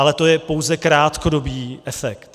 Ale to je pouze krátkodobý efekt.